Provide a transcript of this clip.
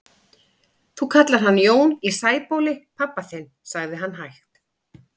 Þú kallar hann Jón í Sæbóli pabba þinn, sagði hann hægt.